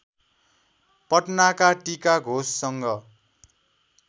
पटनाका टिका घोषसँग